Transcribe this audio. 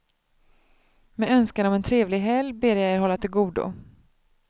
Med önskan om en trevlig helg ber jag er hålla till godo.